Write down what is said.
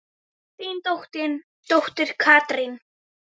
Þín dóttir Katrín.